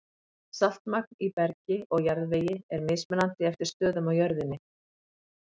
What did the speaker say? Saltmagn í bergi og jarðvegi er mismunandi eftir stöðum á jörðinni.